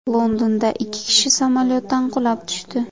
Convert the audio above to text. Londonda ikki kishi samolyotdan qulab tushdi.